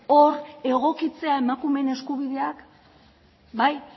hor egokitzea emakumeen eskubideak bai